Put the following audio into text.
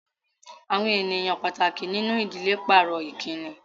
Àwọn ènìyàn pàtàkì nínú ìdílé pàrọ̀ Ìkíni